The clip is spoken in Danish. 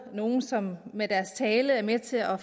nogle som med deres tale er med til at